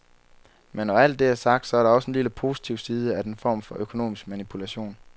Men når alt det er sagt, så er der også en lille positiv side af den form for økonomisk manipulation.